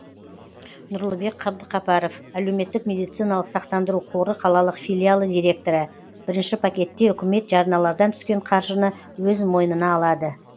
нұрлыбек қабдықапаров әлеуметтік медициналық сақтандыру қоры қалалық филиалы директоры бірінші пакетте үкімет жарналардан түскен қаржыны өз мойнына алады